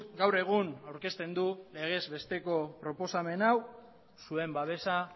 gaur egun aurkezten du legez besteko proposamen hau zuen babesa